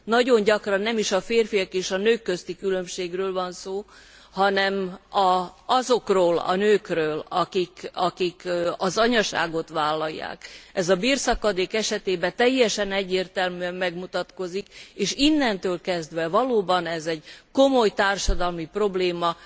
Nagyon gyakran nem is a férfiak és a nők közti különbségről van szó, hanem azokról a nőkről, akik az anyaságot vállalják. Ez a bérszakadék esetében teljesen egyértelműen megmutatkozik, és innentől kezdve valóban ez egy komoly társadalmi probléma,